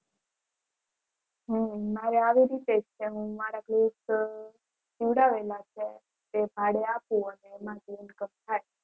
હમ મારે આવી રીતે જ છે મારાથી નોંધાયેલા છે એ ભાડે આપું